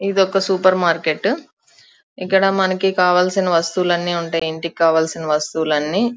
ఇదొక supermarket ఇక్కడ మనకు కావాల్సిన వస్తువులు అన్ని ఉంటాయి ఇంటికి కావాల్సిన వస్తువులు అన్ని --